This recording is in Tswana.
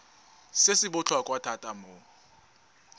se se botlhokwa thata mo